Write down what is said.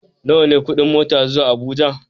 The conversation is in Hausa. Nawa ne kuɗin mota zuwa Abuja?